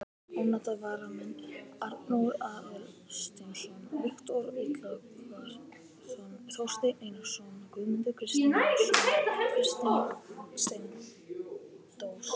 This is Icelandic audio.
Ónotaðir varamenn: Arnór Aðalsteinsson, Viktor Illugason, Þorsteinn Einarsson, Guðmundur Kristjánsson, Kristinn Steindórsson.